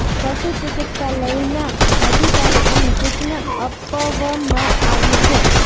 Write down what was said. પશુ ચિકિત્સા લઈ ના અધિકારીઓને સૂચના અપવમાં આવી છે